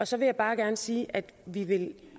så vil jeg bare gerne sige at vi vil